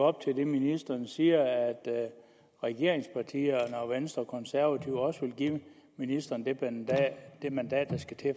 op til det ministeren siger at regeringspartierne venstre og konservative også vil give ministeren det mandat der skal til